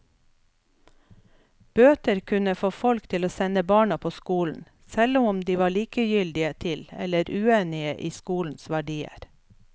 Bøter kunne få folk til å sende barna på skolen, selv om de var likegyldige til eller uenige i skolens verdier.